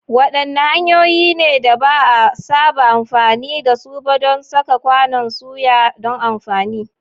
Wadanne hanyoyi ne da ba a saba amfani da su ba don saka kwanon soya don amfani?